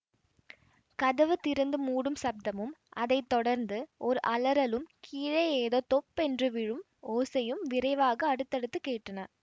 கதவு திறந்து மூடும் சப்தமும் அதை தொடர்ந்து ஓர் அலறலும் கீழே ஏதோ தொப்பென்று விழும் ஓசையும் விரைவாக அடுத்தடுத்து கேட்டன